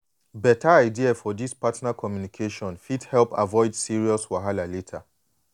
beta idea for this partner communication fit help avoid serious wahala later.